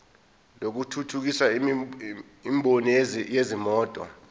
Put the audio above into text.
lokuthuthukisa imboni yezimoto